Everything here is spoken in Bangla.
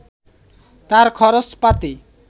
তাঁর খরচপাতি